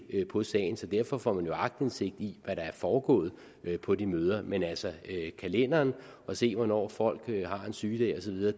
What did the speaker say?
på sagen så derfor får man aktindsigt i hvad der er foregået på de møder men altså kalenderen at se hvornår folk har en sygedag